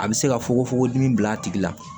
A bɛ se ka fogofogo di min bila a tigi la